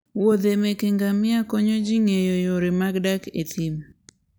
muodhe meke ngamia konyo ji ng'eyo yore mag dak e thim.